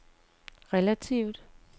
relativt